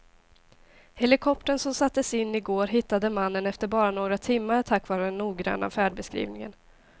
Helikoptern som sattes in i går hittade mannen efter bara några timmar tack vare den noggranna färdbeskrivningen.